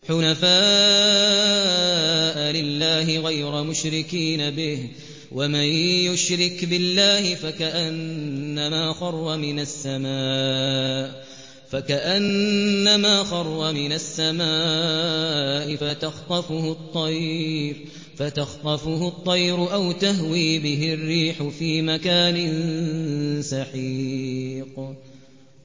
حُنَفَاءَ لِلَّهِ غَيْرَ مُشْرِكِينَ بِهِ ۚ وَمَن يُشْرِكْ بِاللَّهِ فَكَأَنَّمَا خَرَّ مِنَ السَّمَاءِ فَتَخْطَفُهُ الطَّيْرُ أَوْ تَهْوِي بِهِ الرِّيحُ فِي مَكَانٍ سَحِيقٍ